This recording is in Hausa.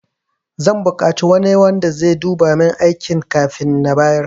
Zan bukaci wani wanda sai duba min aikina kafin na bayar